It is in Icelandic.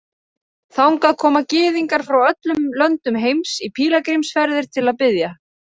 Þangað koma Gyðingar frá öllum löndum heims í pílagrímsferðir til að biðja.